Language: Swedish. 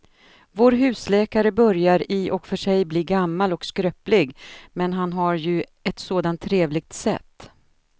Vår husläkare börjar i och för sig bli gammal och skröplig, men han har ju ett sådant trevligt sätt!